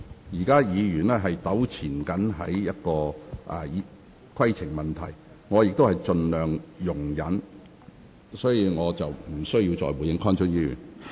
現在議員糾纏於規程問題上，我也盡量容忍，但我不會對此再作回應。